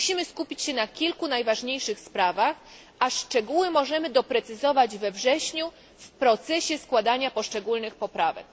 Musimy skupić się na kilku najważniejszych sprawach, a szczegóły możemy doprecyzować we wrześniu w procesie składania poszczególnych poprawek.